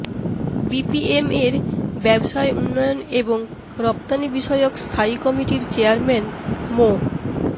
বিপিএমএর ব্যবসায় উন্নয়ন এবং রপ্তানিবিষয়ক স্থায়ী কমিটির চেয়ারম্যান মো